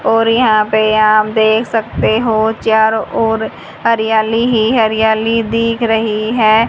और यहां पे आप देख सकते हो चारों ओर हरियाली ही हरियाली दिख रही है।